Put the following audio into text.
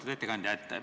Lugupeetud ettekandja!